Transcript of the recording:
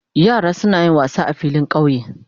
Yara suna yin wassa sa filin kauye.